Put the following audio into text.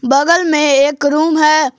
बगल में एक रूम है।